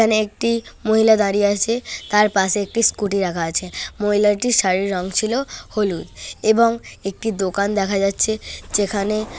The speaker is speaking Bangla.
এখানে একটি মহিলা দাঁড়িয়ে আছে তার পাশে একটি স্কুটি রাখা আছে মহিলাটির শাড়ির রং ছিল হলুদ এবং একটি দোকান দেখা যাচ্ছে যেখানে --